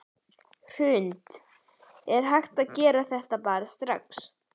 Hrund: Er hægt að gera það bara strax?